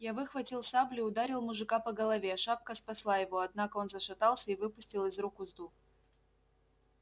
я выхватил саблю и ударил мужика по голове шапка спасла его однако он зашатался и выпустил из рук узду